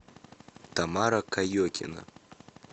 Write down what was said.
тамара каекина